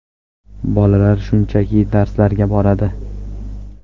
Bolalar shunchaki darslarga boradi.